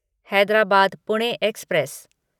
Hyderabad Pune express